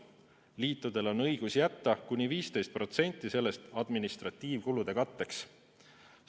Liitudel on õigus jätta kuni 15% sellest administratiivkulude katteks.